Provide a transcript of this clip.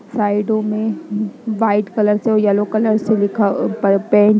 साइडों में white colour से और येल्लो कलर से लिखा पर पेंट --